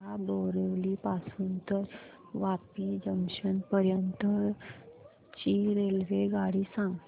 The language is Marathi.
मला बोरिवली पासून तर वापी जंक्शन पर्यंत ची रेल्वेगाडी सांगा